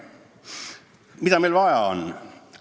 Mida meil vaja on?